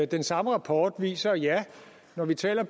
den samme rapport viser at ja når vi taler